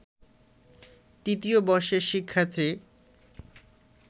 তৃতীয় বর্ষের শিক্ষার্থী